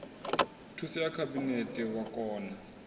thuso ya khabinete wa kona